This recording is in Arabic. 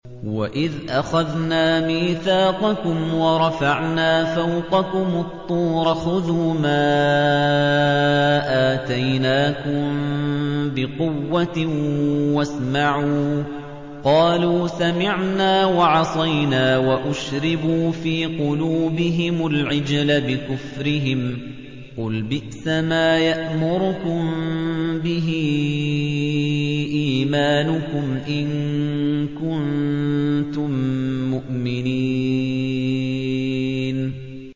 وَإِذْ أَخَذْنَا مِيثَاقَكُمْ وَرَفَعْنَا فَوْقَكُمُ الطُّورَ خُذُوا مَا آتَيْنَاكُم بِقُوَّةٍ وَاسْمَعُوا ۖ قَالُوا سَمِعْنَا وَعَصَيْنَا وَأُشْرِبُوا فِي قُلُوبِهِمُ الْعِجْلَ بِكُفْرِهِمْ ۚ قُلْ بِئْسَمَا يَأْمُرُكُم بِهِ إِيمَانُكُمْ إِن كُنتُم مُّؤْمِنِينَ